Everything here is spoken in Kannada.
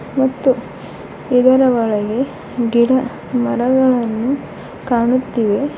ಮತ್ತು ಇದರ ಒಳಗೆ ಗಿಡ ಮರಗಳನ್ನು ಕಾಣುತ್ತಿವೆ.